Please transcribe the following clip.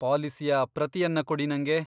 ಪಾಲಿಸಿಯ ಪ್ರತಿಯನ್ನ ಕೊಡಿ ನಂಗೆ.